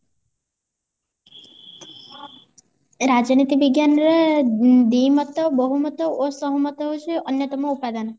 ରାଜନୀତି ବିଜ୍ଞାନରେ ଅ ଦି ମତ ବହୁ ମତ ଓ ସହମତ ହଉଛି ଅନ୍ଯତମ ଉପାଦାନ